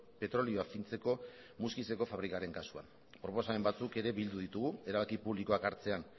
petrolioa fintzeko muskizeko fabrikaren kasuan proposamen batzuk ere bildu ditugu erabaki publikoak hartzean